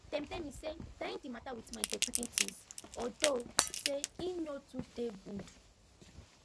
dem tell me say dying de mata with monie dey quicken things although say e no too dey good